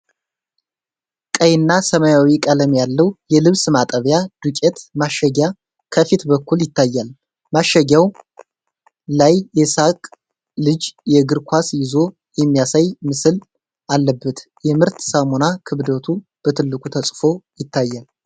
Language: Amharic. ቀይና ሰማያዊ ቀለም ያለው የልብስ ማጠቢያ ዱቄት ማሸጊያ ከፊት በኩል ይታያል። ማሸጊያው ላይ የሳቀ ልጅ የእግር ኳስ ይዞ የሚያሳይ ምስል አለበት። የምርት ስሙና ክብደቱ በትልቁ ተጽፎ ይታያል።